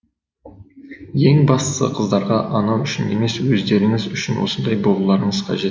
ең бастысы қыздарға ұнау үшін емес өздеріңіз үшін осындай болуларыңыз қажет